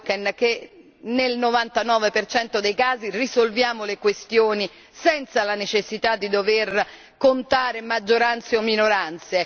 Auken che, nel 99 dei casi, risolviamo le questioni senza la necessità di dover contare maggioranze o minoranze